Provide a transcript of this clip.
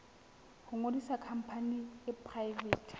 ho ngodisa khampani e poraefete